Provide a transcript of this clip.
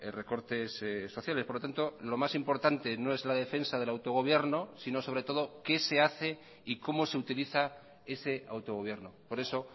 recortes sociales por lo tanto lo más importante no es la defensa del autogobierno sino sobre todo qué se hace y cómo se utiliza ese autogobierno por eso